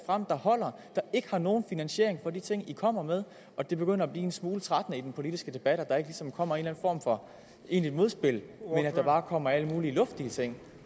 frem der holder der ikke har nogen finansiering af de ting man kommer med og det begynder at blive en smule trættende i den politiske debat at der ikke ligesom kommer en eller anden form for egentligt modspil men at der bare kommer alle mulige luftige ting